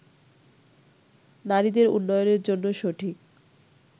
নারীদের উন্নয়নের জন্য সঠিক